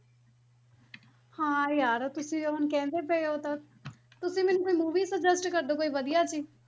ਹਾਂ ਯਾਰ ਤੁਸੀਂ ਹੁਣ ਕਹਿੰਦੇ ਪਏ ਉਹ ਤਾਂ ਤੁਸੀਂ ਮੈਨੂੰ ਕੋਈ movie suggest ਕਰ ਦਓ ਕੋਈ ਵਧੀਆ ਜਿਹੀ।